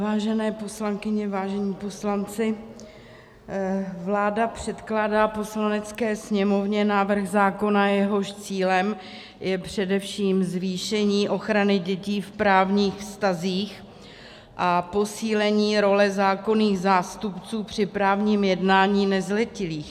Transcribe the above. Vážené poslankyně, vážení poslanci, vláda předkládá Poslanecké sněmovně návrh zákona, jehož cílem je především zvýšení ochrany dětí v právních vztazích a posílení role zákonných zástupců při právním jednání nezletilých.